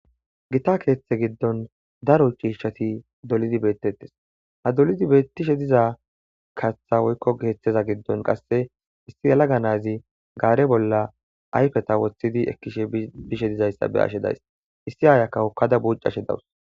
Gita ketha gidoni daro c'ishati dolidi betetes ha dolidi betishe diza katha woyko kethaza gidon qase issi yelaga nazi qare bola ayfeza wotidi ekishe bishe dizaysa be'ashe days issi ayiyaka hokada buc'ashe dawus.